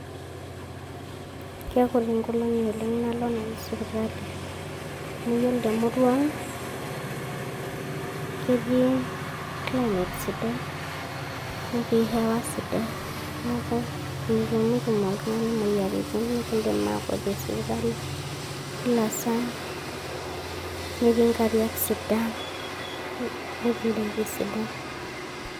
Kegol oleng nkolongi nanu nalo sipitali, Amu yiolo temurua ang ketii climate sidai netii hewa sidai niaku mitumutum oltungani moyiaritin nikidim akwetie sipitali kila saa, netii nkariak sidan netii indaiki sidan.